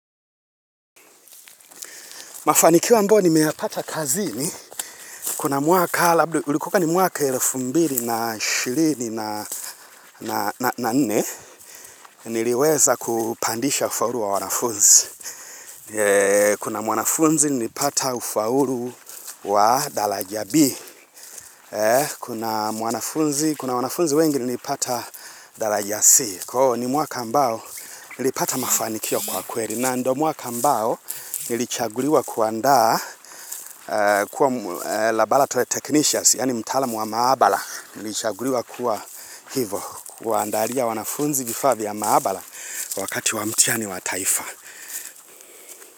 Mafanikio ambayo nimeyapata kazini, kuna mwaka, ulikuka ni mwaka elfu mbili ishirini na nne, niliweza kupandisha ufaulu wa wanafunzi. Kuna mwanafunzi, nilipata ufaulu wa dalaja B. Kuna mwanafunzi, kuna wanafunzi wengi, nilipata dalaja C. Ko ni mwaka ambao, nilipata mafanikio kwa kweri. Na ndo mwaka ambao, nilichaguliwa kuandaa kuwa labaratory technicians, yaani mtalaamu wa maabala. Nilichaguliwa kuwa hivo, kuwaandalia wanafunzi vifaa vya maabala wakati wamtihani wa taifa.